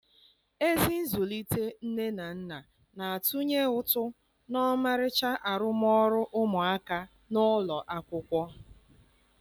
Ezi nzụlite nne na nna na-atụnye ụtụ na ọmarịcha arụmọrụ ụmụaka n'ụlọ akwụkwọ